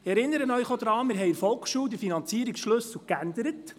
Wir haben bei der Volksschule den Finanzierungsschlüssel geändert.